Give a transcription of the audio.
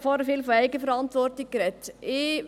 er hat vorhin viel von Eigenverantwortung gesprochen.